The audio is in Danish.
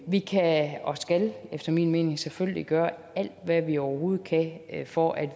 vi kan og skal efter min mening selvfølgelig gøre alt hvad vi overhovedet kan for at